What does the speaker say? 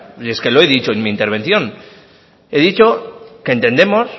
pero es que lo he dicho en mi intervención he dicho que entendemos